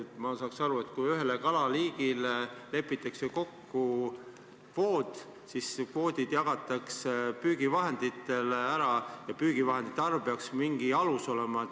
Ma saaks aru, et kui ühe kalaliigi kohta lepitakse kokku kvoot, siis kvoodid jagatakse püügivahenditele ära ja püügivahendite arv peaks mingi alus olema.